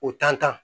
O tantɔn